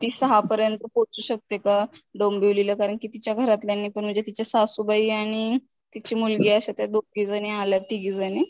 ती सहापर्यंत पोहचू शकते का डोंबिवलीला कारण कि तिच्या घरातल्यांची पण म्हणजे तिच्या सासूबाई आणि तिची मुलगी अश्या त्या दोघीजणी आल्यात तिघीजणी.